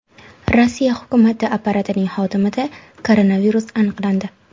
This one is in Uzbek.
Rossiya hukumati apparatining xodimida koronavirus aniqlandi.